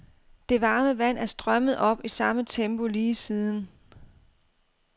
Det varme vand er strømmet op i samme tempo lige siden.